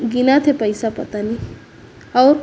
गिनत हे पईसा पता नइ अउ --